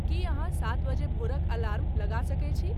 की अहाँसात बजे भोरक अलार्म लगा सके छी